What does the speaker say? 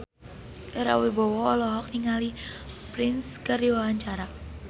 Ira Wibowo olohok ningali Prince keur diwawancara